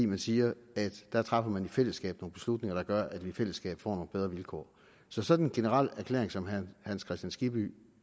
man siger at der træffer man i fællesskab nogle beslutninger der gør at vi i fællesskab får nogle bedre vilkår så sådan en generel erklæring som herre hans kristian skibby